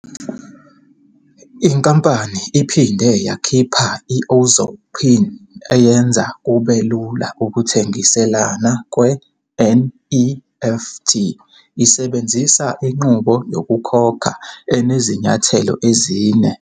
Inkampani iphinde yakhipha i-Ozow PIN eyenza kube lula ukuthengiselana kwe-nEFT isebenzisa inqubo yokukhokha enezinyathelo ezine.